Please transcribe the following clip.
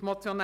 wollen.